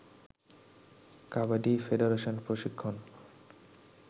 কাবাডি ফেডারেশনের প্রশিক্ষণ